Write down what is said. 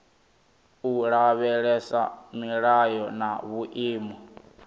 u lavhelesa milayo na vhuimo